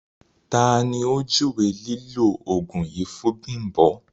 Tà lo júwé lílọ̀ oogun yìí fún Bimbo?